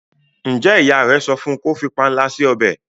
njé ìyá rẹ sọfún kò fí panla si ọbẹ?